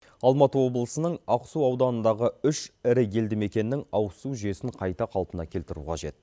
алматы облысының ақсу ауданындағы үш ірі елді мекеннің ауызсу жүйесін қайта қалпына келтіру қажет